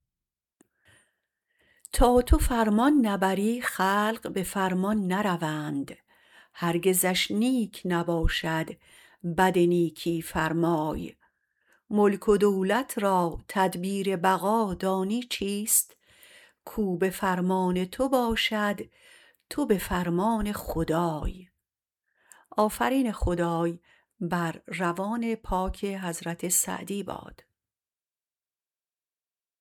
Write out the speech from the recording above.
تا تو فرمان نبری خلق به فرمان نروند هرگزش نیک نباشد بد نیکی فرمای ملک و دولت را تدبیر بقا دانی چیست کو به فرمان تو باشد تو به فرمان خدای